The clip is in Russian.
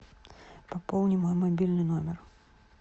пополни мой мобильный номер